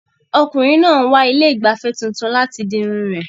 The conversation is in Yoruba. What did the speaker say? Ọkùnrin náà ń wá ilé ìgbafẹ́ tuntun láti di irun rẹ̀.